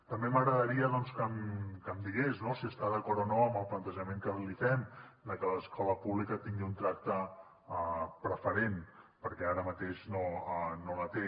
també m’agradaria doncs que em digués no si està d’acord o no amb el plantejament que li fem de que escola pública tingui un tracte preferent perquè ara mateix no el té